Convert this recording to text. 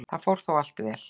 Það fór þó allt vel.